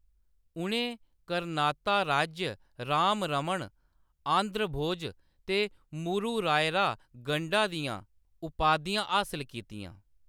उʼनें 'करनाता राज्य राम रमण', 'आंध्र भोज' ते 'मूरु रायरा गंडा' दियां उपाधियां हासल कीतियां।